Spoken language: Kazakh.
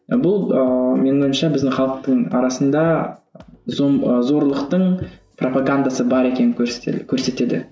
бұл ыыы менің ойымша біздің халықтың арасында зорлықтың пропогандасы бар екенін көрсетеді